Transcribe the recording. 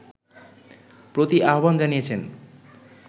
প্রতি আহ্বান জানিয়েছেন